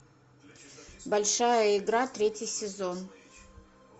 большая игра третий сезон